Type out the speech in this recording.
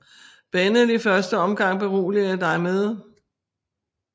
Bennell i første omgang beroliger dig med